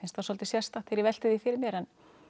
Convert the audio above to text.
það svolítið sérstakt þegar ég velti því fyrir mér